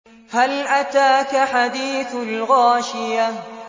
هَلْ أَتَاكَ حَدِيثُ الْغَاشِيَةِ